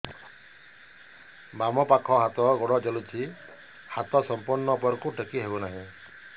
ବାମପାଖ ହାତ ଗୋଡ଼ ଜଳୁଛି ହାତ ସଂପୂର୍ଣ୍ଣ ଉପରକୁ ଟେକି ହେଉନାହିଁ